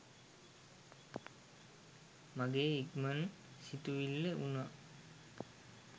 මගේ ඉක්මන් සිතිවිල්ල වුනා.